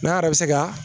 N'a yɛrɛ bɛ se ka